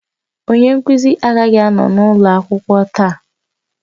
Onye nkuzi agaghị anọ n'ụlọ akwụkwọ taa